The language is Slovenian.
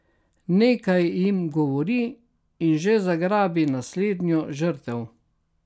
Nekaj jim govori in že zagrabi naslednjo žrtev.